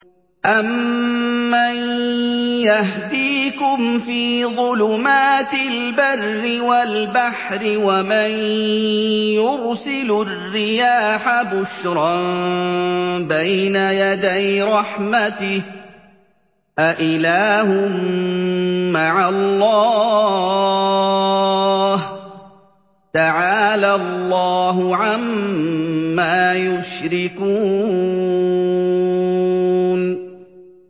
أَمَّن يَهْدِيكُمْ فِي ظُلُمَاتِ الْبَرِّ وَالْبَحْرِ وَمَن يُرْسِلُ الرِّيَاحَ بُشْرًا بَيْنَ يَدَيْ رَحْمَتِهِ ۗ أَإِلَٰهٌ مَّعَ اللَّهِ ۚ تَعَالَى اللَّهُ عَمَّا يُشْرِكُونَ